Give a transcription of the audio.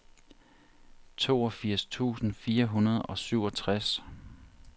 toogfirs tusind fire hundrede og syvogtres